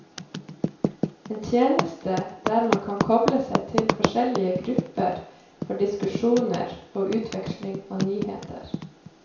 En tjeneste der man kan koble seg til forskjellige grupper for diskusjoner og utveksling av nyheter.